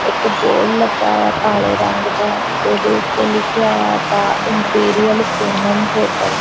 ਇੱਕ ਬੋਰਡ ਲੱਗਾ ਆ ਕਾਲੇ ਰੰਗ ਦਾ ਓਹਦੇ ਉਤੇ ਲਿਖ਼ਿਆ ਆ ਦਾ ਇੰਪੀਰੀਅਲ ਪੂਨਮ ਹੋਟੇਲ ।